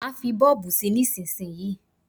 Má fí bọ́ọ̀bù sí nísísíyí.